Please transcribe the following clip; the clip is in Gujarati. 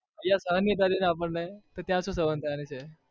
અહિયાં સહન નહિ થતી આપણને તો ત્યાં શું સહન થવાની છે.